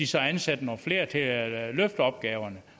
så ansætter nogle flere til at løfte opgaverne